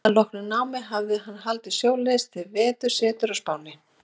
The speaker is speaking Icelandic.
Að loknu námi hafði hann haldið sjóleiðis til vetursetu á Spáni.